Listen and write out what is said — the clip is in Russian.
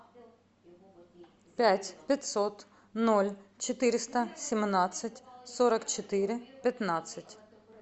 пять пятьсот ноль четыреста семнадцать сорок четыре пятнадцать